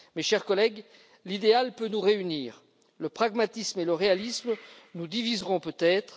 Mes chers collègues, l'idéal peut nous réunir, le pragmatisme et le réalisme nous diviseront peut être